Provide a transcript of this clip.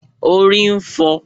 Orí ń fọ́ ọ